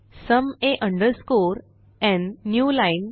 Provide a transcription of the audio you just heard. sum a underscore n new line